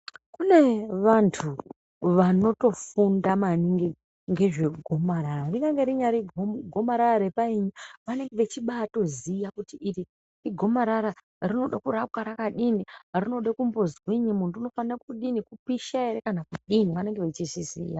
Kune vantu vanotofunda maningi ngezvegomarara kunyange rinyari go gomarara repaini vanenge vechibatoziya kuti iri igomarara rinode kurapwa rakadini rinode kumbozwini muntu unofanire kudini kupisha ere kana kudini vanenge vechizviziya.